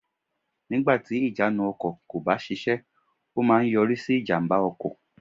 Nígbàtì ìjánu ọkò kò bá sisé ó má a nyorí sí ìjàmbá ọkò